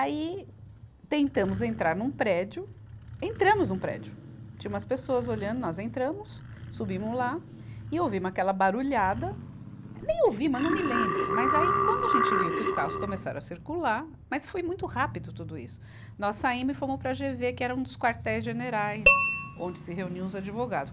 Aí, tentamos entrar num prédio, entramos num prédio, tinha umas pessoas olhando, nós entramos, subimos lá e ouvimos aquela barulhada, nem ouvimos, não me lembro, mas aí quando a gente viu que os carros começaram a circular, mas foi muito rápido tudo isso, nós saímos e fomos para a GêVê, que era um dos quartéis generais, onde se reuniam os advogados.